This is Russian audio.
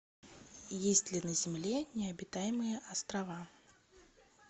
есть ли на земле необитаемые острова